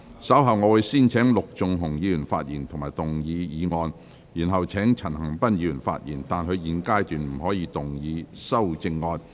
稍後我會先請陸頌雄議員發言及動議議案，然後請陳恒鑌議員發言，但他在現階段不可動議修正案。